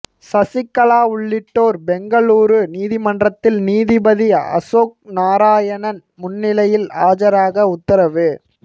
சசிகலா உள்ளிட்டோர் பெங்களூரு நீதிமன்றத்தில் நீதிபதி அசோக் நாரயணன் முன்னிலையில் ஆஜராக உத்தரவு